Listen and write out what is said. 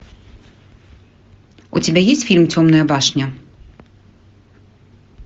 у тебя есть фильм темная башня